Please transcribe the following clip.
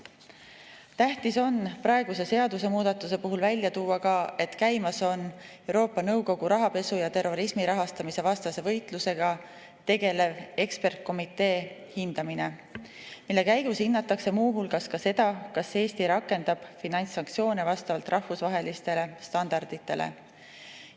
Tähtis on praeguse seadusemuudatuse puhul välja tuua, et käimas on Euroopa Nõukogu rahapesu ja terrorismi rahastamise vastase võitlusega tegeleva ekspertkomitee hindamine, mille käigus hinnatakse muu hulgas seda, kas Eesti rakendab finantssanktsioone vastavalt rahvusvahelistele standarditele.